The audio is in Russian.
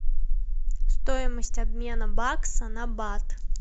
стоимость обмена бакса на бат